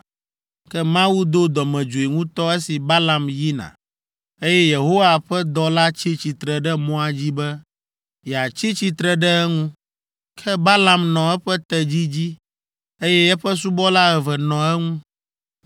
Ke Mawu do dɔmedzoe ŋutɔ esi Balaam yina, eye Yehowa ƒe dɔla tsi tsitre ɖe mɔa dzi be yeatsi tsitre ɖe eŋu. Ke Balaam nɔ eƒe tedzi dzi, eye eƒe subɔla eve nɔ eŋu.